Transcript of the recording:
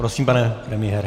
Prosím, pane premiére.